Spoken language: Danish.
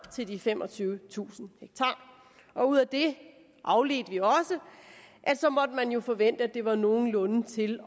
til de femogtyvetusind ha ud af det afledte vi også at så måtte man jo forvente at det var nogenlunde til